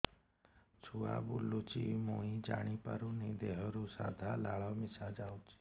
ଛୁଆ ବୁଲୁଚି ମୁଇ ଜାଣିପାରୁନି ଦେହରୁ ସାଧା ଲାଳ ମିଶା ଯାଉଚି